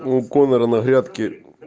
у конера на грядке